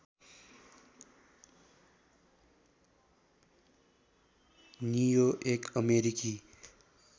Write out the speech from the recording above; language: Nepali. नियो एक अमेरिकी